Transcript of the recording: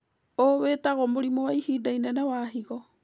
ũ wĩtagwo mũrimũ wa ihinda inene wa higo